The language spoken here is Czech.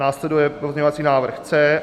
Následuje pozměňovací návrh C.